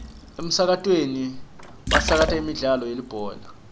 emsakatweni basakata imidlalo yelibhola